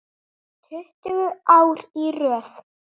Tuttugu ár í röð.